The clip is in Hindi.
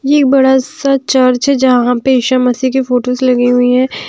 ये एक बड़ा सा चर्च है जहाँ पे ईशा मसीह की फोटोस लगी हुई हैं ।